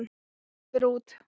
Ég fer út.